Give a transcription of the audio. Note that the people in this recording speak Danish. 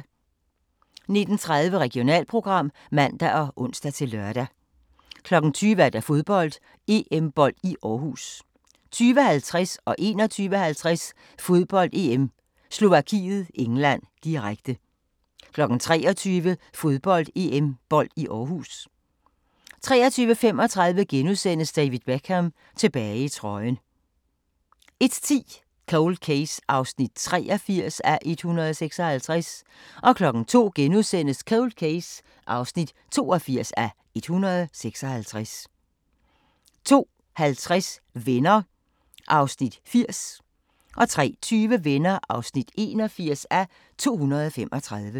19:30: Regionalprogram (man og ons-lør) 20:00: Fodbold: EM-bold i Aarhus 20:50: Fodbold: EM - Slovakiet-England, direkte 21:50: Fodbold: EM - Slovakiet-England, direkte 23:00: Fodbold: EM-bold i Aarhus 23:35: David Beckham – tilbage i trøjen * 01:10: Cold Case (83:156) 02:00: Cold Case (82:156)* 02:50: Venner (80:235) 03:20: Venner (81:235)